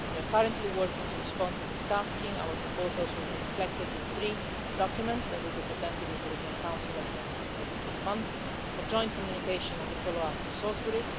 We are currently working to respond to this task, and our proposals will be reflected in three documents that will be presented in the European Council at the end of this month a joint communication on the follow up to Salisbury